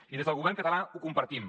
i des del govern català ho compartim